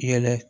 Yɛlɛ